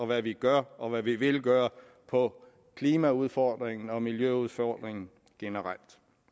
hvad vi gør og hvad vi vil gøre på klimaudfordringen og miljøudfordringen generelt